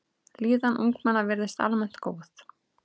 Líðan ungmenna virðist almennt góð.